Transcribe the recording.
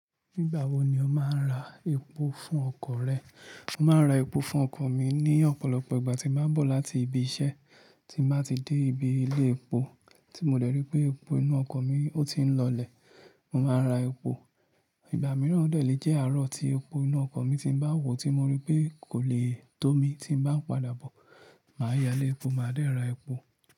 Nígbà wo ni o máa ń ra epo fún ọkọ̀ rẹ? Mo máa ń ra epo fún ọkọ̀ mi ní ọ̀pọ̀lọpọ̀ ìgbà tí màá bọ̀ láti ibi iṣẹ́ tí màá ti dé ibi ilé epo, tí mo dẹ̀ ri pé epo inú ọkọ̀ mi ó ti ń lọlẹ̀, mo máa ra epo. Ìgbà mìíràn dẹ̀ lè jẹ́ àárọ̀ tí epo inú ọkọ̀ mi ti bá wù tí mo rí pé kò le tó mi tí bá ń padà bọ̀, màá yálé epo, màá dẹ̀ ra epo.